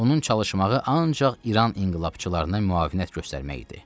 Onun çalışmağı ancaq İran inqilabçılarına müavinət göstərmək idi.